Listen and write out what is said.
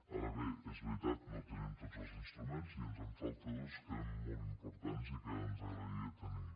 ara bé és veritat no tenim tots els instruments i ens en falten dos que són molt importants i que ens agradaria tenir